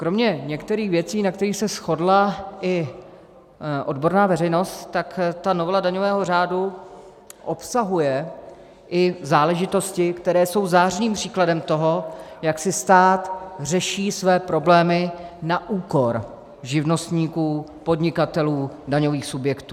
Kromě některých věcí, na kterých se shodla i odborná veřejnost, tak ta novela daňového řádu obsahuje i záležitosti, které jsou zářným příkladem toho, jak si stát řeší své problémy na úkor živnostníků, podnikatelů, daňových subjektů.